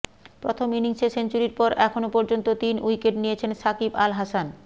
প্রথম ইনিংসে সেঞ্চুরির পর এখন পর্যন্ত তিন উইকেট নিয়েছেন সাকিব আল হাসান